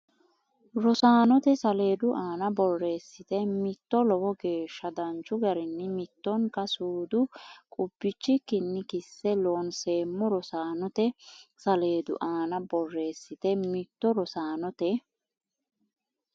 Rosaanote saleedu aana borreessite mitto Lowo geeshsha danchu garinni mittonka suude qubbichikkinni kisse loonsoommo Rosaanote saleedu aana borreessite mitto Rosaanote.